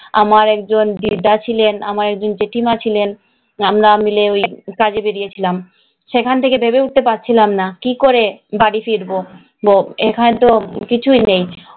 আমার একজন দিদা ছিলেন, একজন জেঠিমা ছিলেন, আমরা মিলে ওই কাজে বেরিয়েছিলাম। সেখান থেকে ভেবে উঠতে পারছিলাম না কি করে বাড়ি ফিরব।